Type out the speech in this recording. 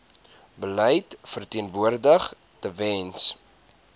beleid verteenwoordig tewens